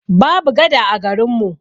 Babu gada a garin mu.